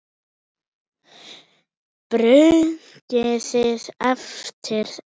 Brugðið eftir eitt.